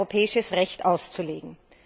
europäisches Recht auszulegen.